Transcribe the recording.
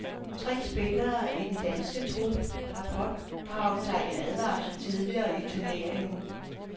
Tre spillere i den danske trup har pådraget sig en advarsel tidligere i turneringen.